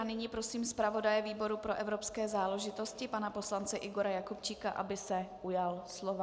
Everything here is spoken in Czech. A nyní prosím zpravodaje výboru pro evropské záležitosti pana poslance Igora Jakubčíka, aby se ujal slova.